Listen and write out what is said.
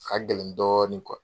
A ka gɛlɛn dɔɔni